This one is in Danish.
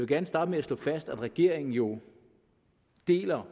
gerne starte med at slå fast at regeringen jo deler